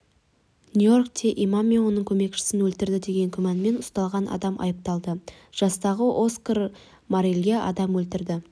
нью-йоркте имам мен оның көмекшісін өлтірді деген күмәнмен ұсталған адам айыпталды жастағы оскар морелға адам өлтірді